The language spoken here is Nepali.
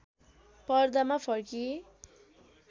पर्दामा फर्किए